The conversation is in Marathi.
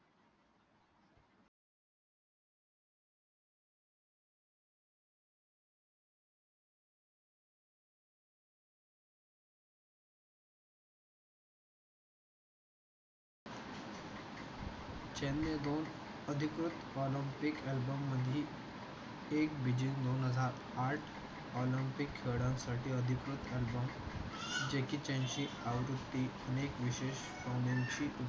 चीनने अधिकृत ऑलिम्पिक अल्बममधील एक व्हिडीओ दोन हजार आठ ऑलिम्पिक खेळासाठी अधिकृत अल्बम जे कि आवृत्तीने विशेष